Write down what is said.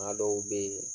Maa dɔw be yen